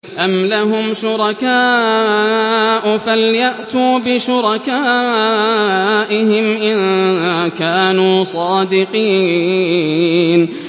أَمْ لَهُمْ شُرَكَاءُ فَلْيَأْتُوا بِشُرَكَائِهِمْ إِن كَانُوا صَادِقِينَ